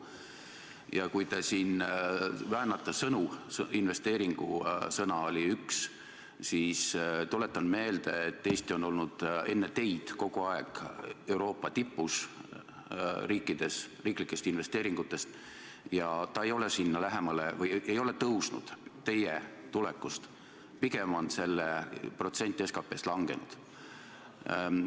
Ja kui te siin väänate sõnu – "investeering" oli üks –, siis tuletan meelde, et Eesti on olnud enne teid kogu aeg Euroopa tipus riiklike investeeringute poolest ja need ei ole kuidagi tõusnud teie tulekust alates, vaid pigem on protsent SKT-st langenud.